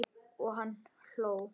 Og hann hló.